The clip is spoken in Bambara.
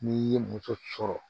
N'i ye muso sɔrɔ